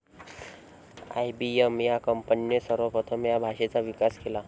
I B M या कंपनीने सर्वप्रथम या भाषेचा विकास केला.